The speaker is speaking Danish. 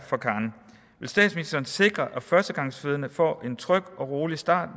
vil statsministeren sikre at førstegangsfødende får en tryg og rolig start